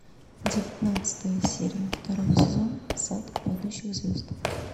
девятнадцатая серия второго сезона сад падающих звезд